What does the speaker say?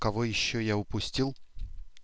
кого ещё я упустил